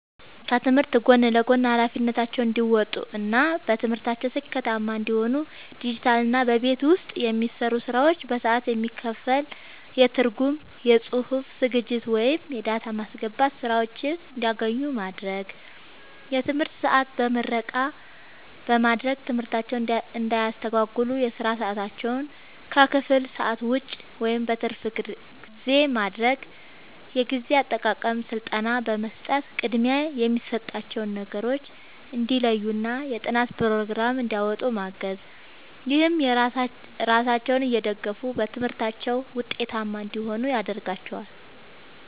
ከትምህርት ጎን ለጎን ኃላፊነታቸውን እንዲወጡ እና በትምህርታቸው ስኬታማ እንዲሆኑ ዲጂታልና በቤት ውስጥ የሚሰሩ ስራዎች በሰዓት የሚከፈል የትርጉም፣ የጽሑፍ ዝግጅት ወይም የዳታ ማስገባት ሥራዎችን እንዲያገኙ ማድረግ። የትምህርት ሰዓት በምረቃ በማድረግ ትምህርታቸውን እንዳያስተጓጉል የሥራ ሰዓታቸውን ከክፍል ሰዓት ውጭ (በትርፍ ጊዜ) ማድረግ። የጊዜ አጠቃቀም ሥልጠና በመስጠት ቅድሚያ የሚሰጣቸውን ነገሮች እንዲለዩና የጥናት ፕሮግራም እንዲያወጡ ማገዝ። ይህም ራሳቸውን እየደገፉ በትምህርታቸው ውጤታማ እንዲሆኑ ያደርጋቸዋል።